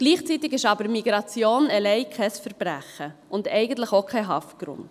Gleichzeitig ist aber Migration allein kein Verbrechen und eigentlich auch kein Haftgrund.